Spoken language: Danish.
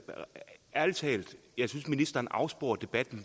ærlig talt synes ministeren afsporer debatten